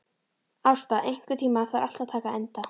Ásta, einhvern tímann þarf allt að taka enda.